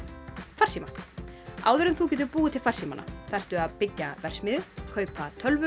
farsíma áður en þú getur búið til farsímana þarftu að byggja verksmiðju kaupa tölvur